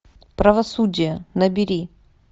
правосудие набери